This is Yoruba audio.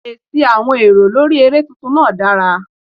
Èsì àwọn èrò lórí eré tuntun náà dára.